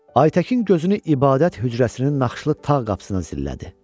Aytəkin gözünü ibadət hücrəsinin naxışlı tağ qapısına zillədi.